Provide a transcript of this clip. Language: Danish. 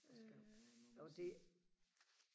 øh må man nok sige